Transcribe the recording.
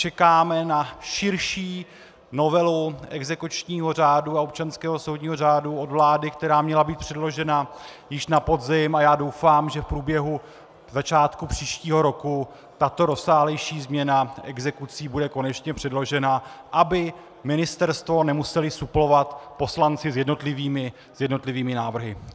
Čekáme na širší novelu exekučního řádu a občanského soudního řádu od vlády, která měla být předložena již na podzim, a já doufám, že v průběhu začátku příštího roku tato rozsáhlejší změna exekucí bude konečně předložena, aby ministerstvo nemuseli suplovat poslanci s jednotlivými návrhy.